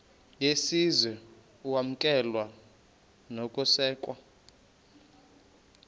yesizwe ukwamkelwa nokusekwa